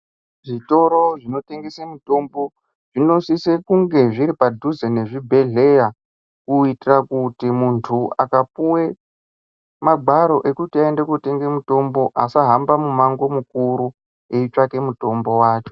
Zvitoro zvinotengese mitombo zvinosise kunge zviri padhuze nezvibhedhleya. Kuitira kuti muntu akapiwe magwaro ekuti aende kotenge mitombo asahamba mumango mukuru eitsvake mutombo wacho.